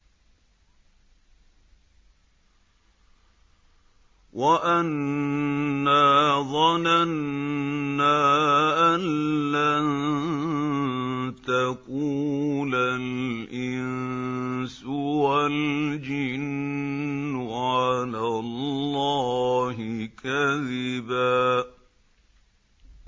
وَأَنَّا ظَنَنَّا أَن لَّن تَقُولَ الْإِنسُ وَالْجِنُّ عَلَى اللَّهِ كَذِبًا